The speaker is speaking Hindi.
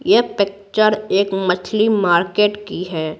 यह पिक्चर एक मछली मार्केट की है।